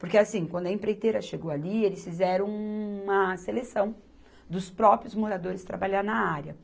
Porque assim, quando a empreiteira chegou ali, eles fizeram uma seleção dos próprios moradores trabalhar na área.